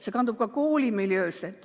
See kandub koolimiljöösse.